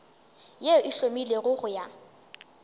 yeo e hlomilwego go ya